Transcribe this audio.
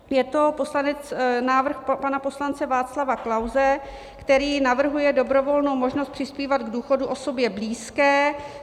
Je to návrh pana poslance Václava Klause, který navrhuje dobrovolnou možnost přispívat k důchodu osobě blízké.